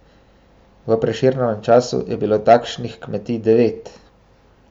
V Prešernovem času je bilo takšnih kmetij devet.